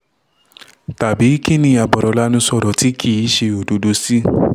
tàbí kín ni abọ̀rọ̀ lanu sọ̀rọ̀ tí kì í ṣe òdodo sí